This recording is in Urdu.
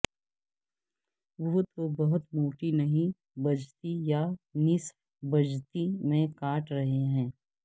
وہ تو بہت موٹی نہیں بجتی یا نصف بجتی میں کاٹ رہے ہیں